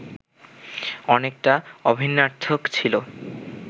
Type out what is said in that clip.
অনেকটা অভিন্নার্থক ছিল